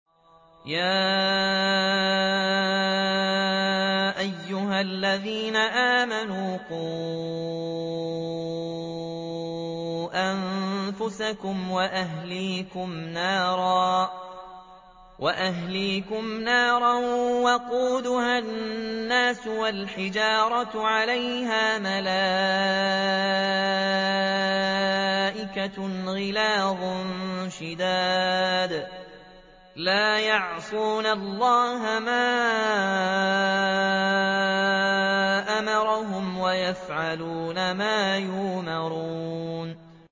يَا أَيُّهَا الَّذِينَ آمَنُوا قُوا أَنفُسَكُمْ وَأَهْلِيكُمْ نَارًا وَقُودُهَا النَّاسُ وَالْحِجَارَةُ عَلَيْهَا مَلَائِكَةٌ غِلَاظٌ شِدَادٌ لَّا يَعْصُونَ اللَّهَ مَا أَمَرَهُمْ وَيَفْعَلُونَ مَا يُؤْمَرُونَ